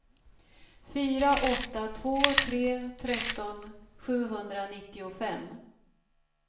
fyra åtta två tre tretton sjuhundranittiofem